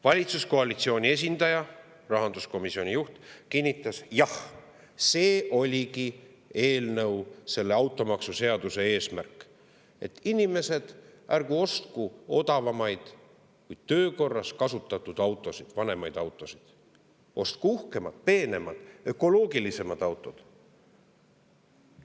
Valitsuskoalitsiooni esindaja, rahanduskomisjoni juht kinnitas, et jah, see oligi automaksuseaduse eesmärk: inimesed ärgu ostku odavamaid, kuid töökorras kasutatud autosid, vanemaid autosid, vaid ostku uhkemad, peenemad, ökoloogilisemad autod.